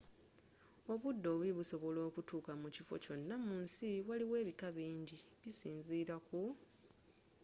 obudde obubi busobola okutuuka mu kifo kyonna mu nsi waliyo ebika binji bisinziira ku